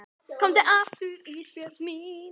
Komdu aftur Ísbjörg mín.